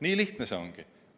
Nii lihtne see ongi.